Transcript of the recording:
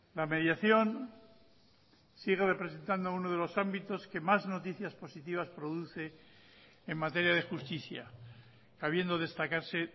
la mediación sigue representando uno de los ámbitos que más noticias positivas produce en materia de justicia habiendo destacarse